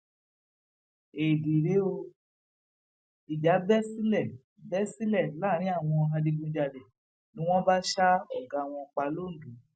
éèdì rèé ó ìjà bẹ sílẹ bẹ sílẹ láàrin àwọn adigunjalè ni wọn bá ṣa ọgá wọn pa londo